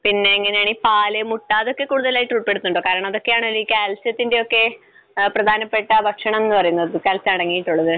പിന്നെ എങ്ങനെയാണ് ഈ പാൽ, മുട്ട, അതൊക്കെ കൂടുതലായിട്ട് ഉൾപ്പെടുത്തുന്നുണ്ടോ? കാരണം അത് ഒക്കെയാണല്ലോ ഈ കാൽസ്യത്തിന്റെ ഒക്കെ പ്രധാനപ്പെട്ട ഭക്ഷണം എന്ന് പറയുന്നത്. കാൽസ്യം അടങ്ങിയിട്ടുള്ളത്.